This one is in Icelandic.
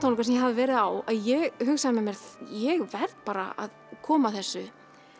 sem ég hafði verið á að ég hugsaði með mér ég verð bara að koma þessu